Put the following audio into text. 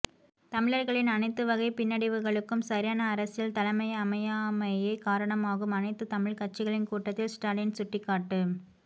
தமிழர்களின் அனைத்துவகைப் பின்னடைவுகளுக்கும் சரியானஅரசியல் தலைமைஅமையாமையேகாரணமாகும் அனைத்துத் தமிழ்க் கட்சிகளின் கூட்டத்தில் ஸ்டாலின் சுட்டிக்காட்டு